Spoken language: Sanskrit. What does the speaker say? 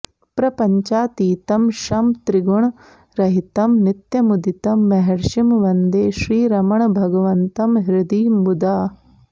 प्रपञ्चातीतं शं त्रिगुणरहितं नित्यमुदितं महर्षिं वन्दे श्रीरमणभगवन्तं हृदि मुदा